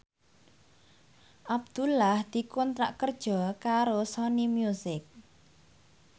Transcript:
Abdullah dikontrak kerja karo Sony Music